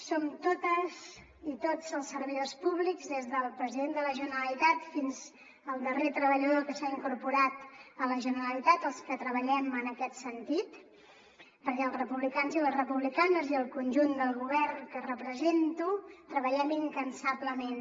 som totes i tots els servidors públics des del president de la generalitat fins al darrer treballador que s’ha incorporat a la generalitat els que treballem en aquest sentit perquè els republicans i les republicanes i el conjunt del govern que represento treballem incansablement